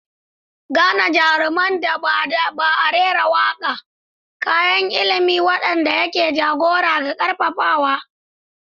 Gane jaruman da ba a rera waƙa, kayan ilimi waɗanda ke jagora da ƙarfafawa.